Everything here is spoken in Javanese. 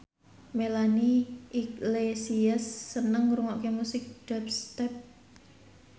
Melanie Iglesias seneng ngrungokne musik dubstep